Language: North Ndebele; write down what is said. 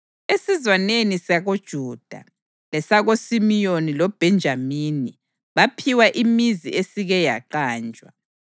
Esizwaneni sakoJuda, lesakoSimiyoni loBhenjamini baphiwa imizi esike yaqanjwa.